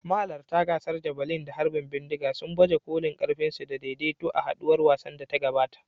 Mahalarta gasar javelin da harbin bindiga sun baje kolin ƙarfinsu da daidaito a haɗuwar wasannin da ta gabata.